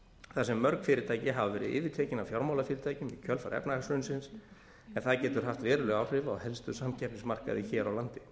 þar sem mörg fyrirtæki hafa verið yfirtekin af fjármálafyrirtækjum í kjölfar efnahagshrunsins en það getur haft veruleg áhrif á helstu samkeppnismarkaði hér á landi